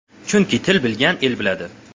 Chunki til bilgan el biladi.